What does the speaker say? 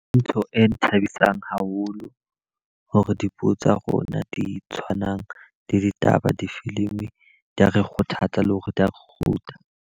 Ntho e nthabisang haholo hore dipuo tsa rona di tshwanang le ditaba difilimi. Di a re kgothatsa le hore di a .